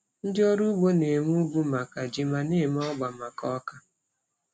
Ndị ọrụ ugbo na-eme ugwu maka ji ma na-eme ọgba maka ọka.